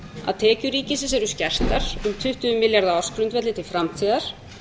að tekjur ríkisins eru skertar um tuttugu milljarða á ársgrundvelli til framtíðar